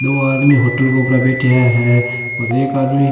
दो आदमी होटल के ऊपर बैठया है और एक आदमी --